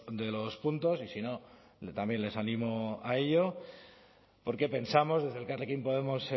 de los puntos y si no también les animo a ello porque pensamos desde elkarrekin podemos